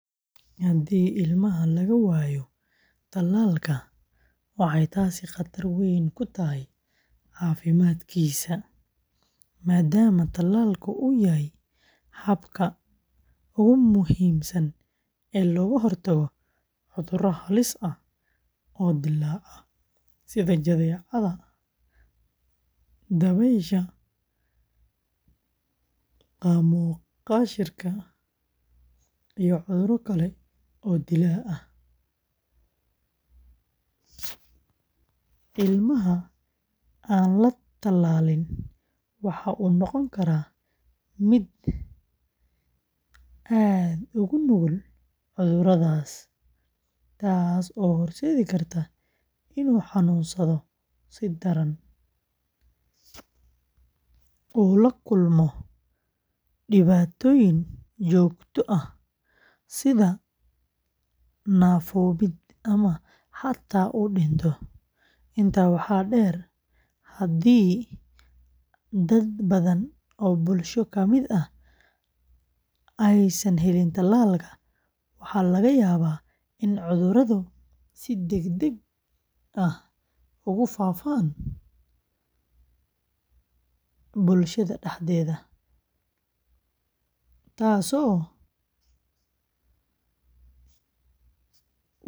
Haddii ilmaha laga waayo tallaalka, waxay taasi khatar weyn ku tahay caafimaadkiisa maadaama tallaalku uu yahay habka ugu muhiimsan ee looga hortago cudurro halis ah oo dillaaca, sida jadeecada, dabaysha, qaamo-qashiirka, iyo cudurro kale oo dilaaga ah. Ilmaha aan la tallaalin waxa uu noqon karaa mid aad ugu nugul cudurradaas, taas oo horseedi karta inuu xanuunsado si daran, uu la kulmo dhibaatooyin joogto ah sida naafoobid, ama xataa uu u dhinto. Intaa waxaa dheer, haddii dad badan oo bulsho ka mid ah aysan helin tallaalka, waxaa laga yaabaa in cudurradu si degdeg ah ugu faafaan bulshada dhexdeeda, taasoo wiiqeysa xasiloonida caafimaad ee guud.